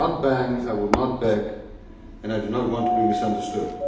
I will not bang my gavel, I will not beg and I do not want to be misunderstood.